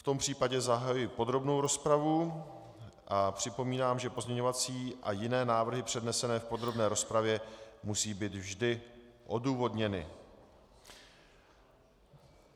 V tom případě zahajuji podrobnou rozpravu a připomínám, že pozměňovací a jiné návrhy přednesené v podrobné rozpravě musí být vždy odůvodněny.